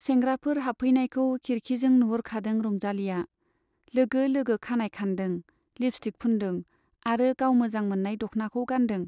सेंग्राफोर हाबफैनायखौ खिरखिजों नुहुरखादों रंजालीया, लोगो लोगो खानाइ खानदों, लिपस्टिक फुनदों आरो गाव मोजां मोन्नाय दख्नाखौ गानदों।